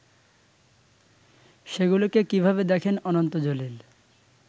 সেগুলোকে কিভাবে দেখেন অনন্ত জলিল